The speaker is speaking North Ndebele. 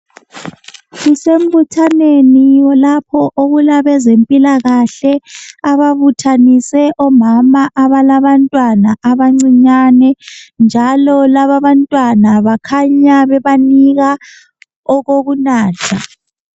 Kusembuthaneni lapho okulabe zempilakahle ababuthanise omama abalabantwana abancinyane, njalo laba bantwana bakhanya bebanika okokunatha.